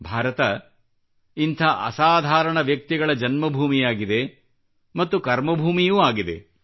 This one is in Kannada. ಭಾರತ ಇಂಥ ಅಸಾಧಾರಾಣ ವ್ಯಕ್ತಿಗಳ ಜನ್ಮಭೂಮಿಯಾಗಿದೆ ಮತ್ತು ಕರ್ಮಭೂಮಿಯೂ ಆಗಿದೆ